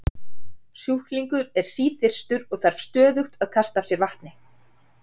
Sjúklingur er síþyrstur og þarf stöðugt að kasta af sér vatni.